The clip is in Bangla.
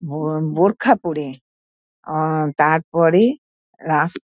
বো বোরখা পরে আ আ তার পরে রাস--